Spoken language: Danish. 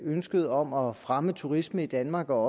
ønsket om at fremme turismen i danmark og